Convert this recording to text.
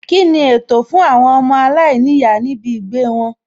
Kíni ètò fún àwọn ọmọ aláìníyàá níbì gbèé wọn?